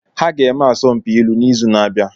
Ha ga-eme asọmpi ilu n'izu na-abịa.